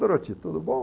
Doroti, tudo bom?